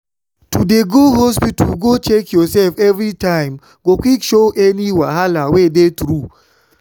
to dey go hospita go check your sef evey time go quick show any wahala wey dey tru